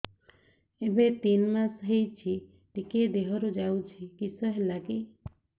ଏବେ ତିନ୍ ମାସ ହେଇଛି ଟିକିଏ ଦିହରୁ ଯାଉଛି କିଶ ହେଲାକି